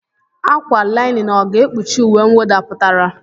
ákwà linin ọ̀ ga-ekpuchi uwe mwụda pụtara?